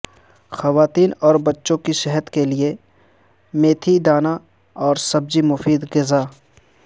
خواتین اور بچوں کی صحت کے لیے میتھی دانہ اور سبزی مفید غذا